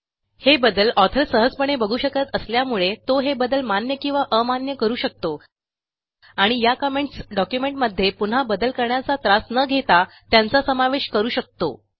हे बदल ऑथर सहजपणे बघू शकत असल्यामुळे तो हे बदल मान्य किंवा अमान्य करू शकतो आणि या कमेंट्स डॉक्युमेंटमध्ये पुन्हा बदल करण्याचा त्रास न घेता त्यांचा समावेश करू शकतो